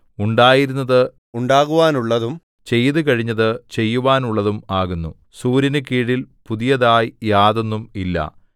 ഉണ്ടായിരുന്നത് ഉണ്ടാകുവാനുള്ളതും ചെയ്തുകഴിഞ്ഞത് ചെയ്യുവാനുള്ളതും ആകുന്നു സൂര്യനുകീഴിൽ പുതിയതായി യാതൊന്നും ഇല്ല